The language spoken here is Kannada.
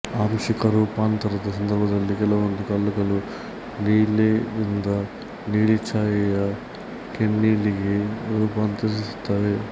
ಆಂಶಿಕ ರೂಪಾಂತರದ ಸಂದರ್ಭದಲ್ಲಿ ಕೆಲವೊಂದು ಕಲ್ಲುಗಳು ನೀಲಿಯಿಂದ ನೀಲಿಛಾಯೆಯ ಕೆನ್ನೀಲಿಗೆ ರೂಪಾಂತರಿಸುತ್ತವೆ